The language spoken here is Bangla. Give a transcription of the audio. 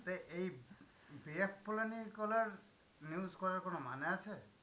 তা এই news করার কোনো মানে আছে?